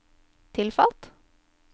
tilfalt